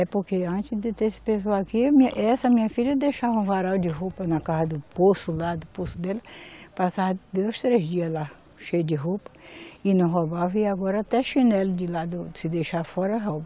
É, porque antes de ter esse pessoal aqui, essa minha filha deixava um varal de roupa na casa do poço, lá do poço dela, passava dois, três dias lá, cheio de roupa, e não roubava, e agora até chinelo de lado, se deixar fora rouba.